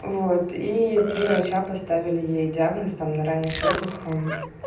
вот и три врача поставили ей диагноз там на ранних сроках